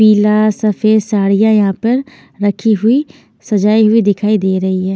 पीला सफ़ेद साड़ियाँ यहाँ पर रखी हुई सजाई हुई दिखाई दे रही हैं।